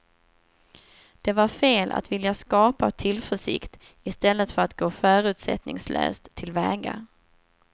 Det var fel att vilja skapa tillförsikt i stället för att gå förutsättningslöst tillväga.